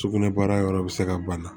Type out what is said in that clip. Sugunɛbara yɔrɔ bɛ se ka bana